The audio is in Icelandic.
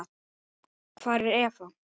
Hvar er Eva?